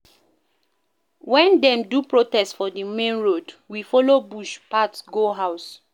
Wen dem do protest for di main road, we folo bush path go house